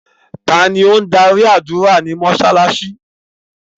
Tani o n darí ádùra ni mósálásí?